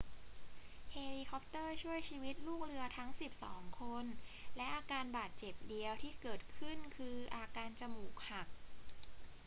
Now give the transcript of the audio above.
เฮลิคอปเตอร์ช่วยชีวิตลูกเรือทั้งสิบสองคน และอาการบาดเจ็บเดียวที่เกิดขึ้นคืออาการจมูกหัก